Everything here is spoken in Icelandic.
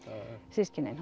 systkinin